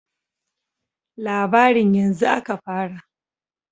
"Labarin yanzu aka fara."